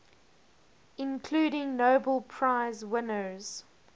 including nobel prize winners